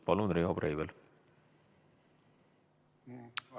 Palun, Riho Breivel!